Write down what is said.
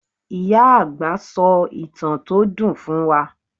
Ìyá àgbà sọ ìtàn tó dùn fún wa.